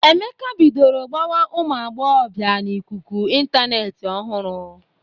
Emeka bidoro gbawa ụmụ agbọghọbịa n'ikuku ịntanetị ọhụrụ.